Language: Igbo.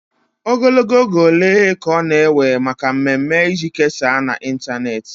Ogologo oge ole ka ọ na-ewe maka mmemme iji kesaa na ịntanetị?